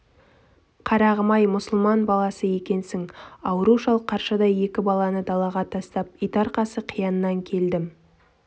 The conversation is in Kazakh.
қарағым-ай мұсылман баласы екенсің ауру шал қаршадай екі баланы далаға тастап итарқасы қияннан келдім